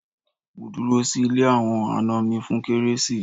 Mo dúró sí ilé àwọn àna mi fún kérésì